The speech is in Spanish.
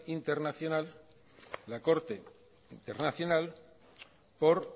internacional la corte internacional por